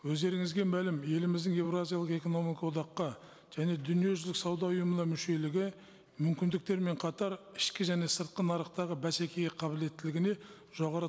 өздеріңізге мәлім еліміздің еуразиялық экономика одаққа және дүниежүзілік сауда ұйымына мүшелігі мүмкіндіктермен қатар ішкі және сыртқы нарықтағы бәсекеге қабілеттілігіне жоғары